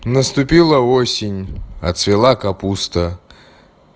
наступила осень отцвела капуста